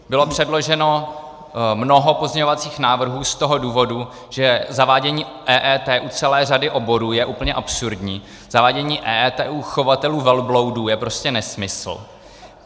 Bylo předloženo mnoho pozměňovacích návrhů z toho důvodu, že zavádění EET u celé řady oborů je úplně absurdní, zavádění EET u chovatelů velbloudů je prostě nesmysl.